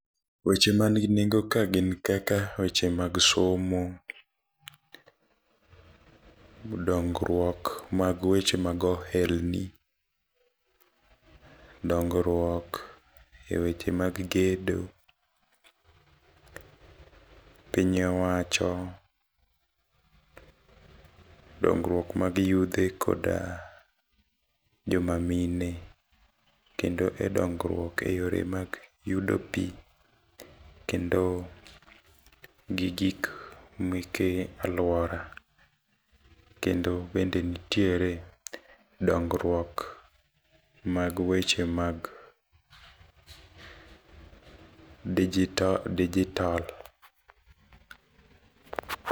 Weche manigi nengo kae gin kaka weche mag somo, dongruok mag weche mag ohelni, dongruok e weche mag gedo, piny owacho, dongruok mag yudhe kod joma mine. Kendo e dongruok eyore mag yudo pi. Kendo gi gik meke alwora. Kendo bende nitiere dongruok mag weche mag digital, digital.